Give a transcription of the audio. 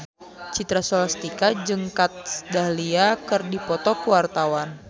Citra Scholastika jeung Kat Dahlia keur dipoto ku wartawan